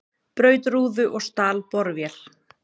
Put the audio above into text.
Braut rúðu og stal borvél